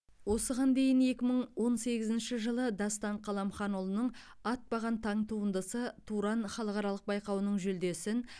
осыған дейін екі мың он сегізінші жылы дастан қаламханұлының атпаған таң туындысы туран халықаралық байқауының жүлдесін